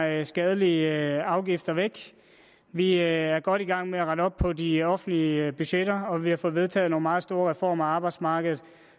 her skadelige afgifter væk vi er godt i gang med at rette op på de offentlige budgetter og vi har fået vedtaget nogle meget store reformer af arbejdsmarkedet